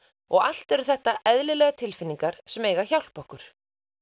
og allt eru þetta eðlilegar tilfinningar sem eiga að hjálpa okkur